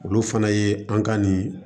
Olu fana ye an ka nin